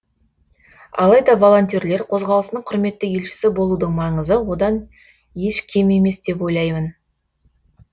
алайда волонтерлер қозғалысының құрметті елшісі болудың маңызы одан еш кем емес деп ойлаймын